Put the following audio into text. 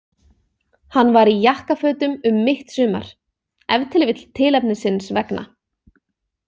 Hann var í jakkafötum um mitt sumar, ef til vill tilefnisins vegna.